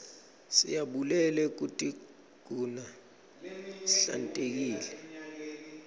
siyabulele kutiguna sihlantekile